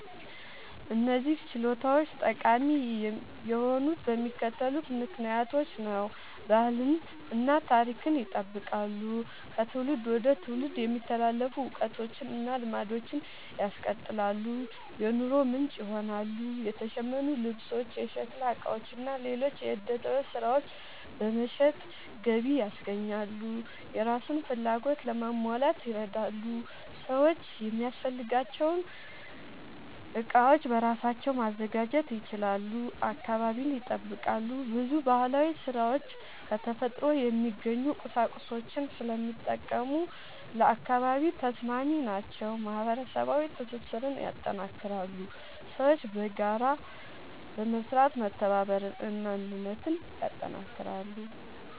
እነዚህ ችሎታዎች ጠቃሚ የሆኑት በሚከተሉት ምክንያቶች ነው፦ ባህልን እና ታሪክን ይጠብቃሉ – ከትውልድ ወደ ትውልድ የሚተላለፉ እውቀቶችን እና ልማዶችን ያስቀጥላሉ። የኑሮ ምንጭ ይሆናሉ – የተሸመኑ ልብሶች፣ የሸክላ ዕቃዎች እና ሌሎች የዕደ ጥበብ ሥራዎች በመሸጥ ገቢ ያስገኛሉ። የራስን ፍላጎት ለማሟላት ይረዳሉ – ሰዎች የሚያስፈልጋቸውን ዕቃዎች በራሳቸው ማዘጋጀት ይችላሉ። አካባቢን ይጠብቃሉ – ብዙ ባህላዊ ሥራዎች ከተፈጥሮ የሚገኙ ቁሳቁሶችን ስለሚጠቀሙ ለአካባቢ ተስማሚ ናቸው። ማህበረሰባዊ ትስስርን ያጠናክራሉ – ሰዎች በጋራ በመስራት መተባበርን እና አንድነትን ያጠናክራሉ።